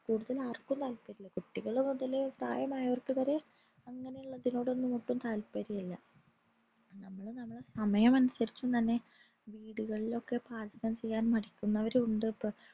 കൂടുതൽ ആർക്കും താത്പര്യമില്ല കുട്ടികൾ മുതൽ പ്രായമായാവർക് വരെ അങ്ങനെയുള്ളതിനോടൊന്നും ഒട്ടും താത്പര്യമില്ല നമ്മൾ നമ്മളെ സമയം അനുസരിച് തന്നെ വീടുകളിലൊക്കെ parcel ചെയ്യാൻ മടിക്കുന്നവരുമുണ്ട്